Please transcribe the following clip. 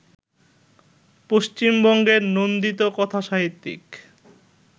পশ্চিমবঙ্গের নন্দিত কথাসাহিত্যিক